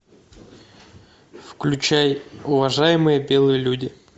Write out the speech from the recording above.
включай уважаемые белые люди